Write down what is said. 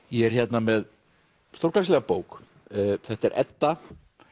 ég er hérna með stórglæsilega bók þetta er Edda